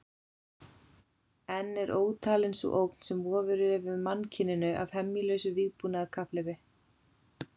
Enn er ótalin sú ógn sem vofir yfir mannkyninu af hemjulausu vígbúnaðarkapphlaupi.